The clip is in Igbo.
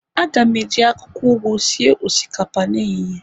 A ga m eji akwukwo ugu sie osikapa n'ehihie